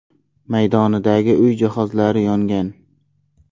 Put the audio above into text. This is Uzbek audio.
maydonidagi uy jihozlari yongan.